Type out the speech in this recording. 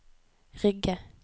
Rygge